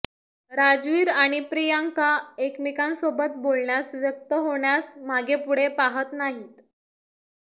राजवीर आणि प्रियांका एकमेकांसोबत बोलण्यास व्यक्त होण्यास मागेपुढे पहात नाहीत